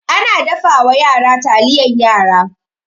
Ana dafawa yara taliyan yara.